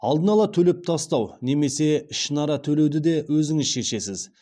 алдын ала төлеп тастау немесе ішінара төлеуді де өзіңіз шешесіз